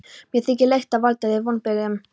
Mér þykir leitt að valda þér vonbrigðum.